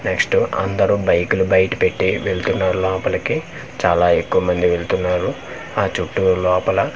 Next అందరూ బైకులు బైట పెట్టి వెళ్తున్నారు లోపలికి చాలా ఎక్కువ మంది వెళ్తున్నారు ఆ చుట్టూ లోపల.